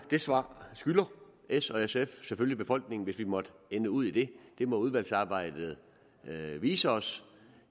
det svar skylder s og sf selvfølgelig befolkningen hvis vi måtte ende ud i det det må udvalgsarbejdet vise os